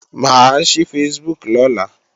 Mà á ṣí Facebook lọ́la